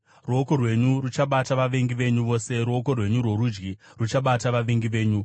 Ruoko rwenyu ruchabata vavengi venyu vose; ruoko rwenyu rworudyi ruchabata vavengi venyu.